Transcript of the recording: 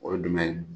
O ye jumɛn ye